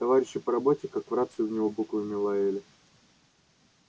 товарищи по работе как в рацию в него буквами лаяли